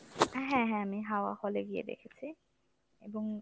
হ্যাঁ হ্যাঁ আমি হাওয়া hall এ গিয়ে দেখেছি। এবং